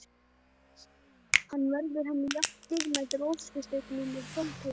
Hann verður henni jafn dýrmætur og óskasteinninn er fátækum manni.